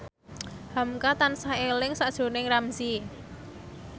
hamka tansah eling sakjroning Ramzy